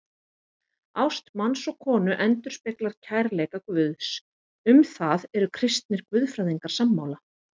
Ást manns og konu endurspeglar kærleika Guðs, um það eru kristnir guðfræðingar sammála.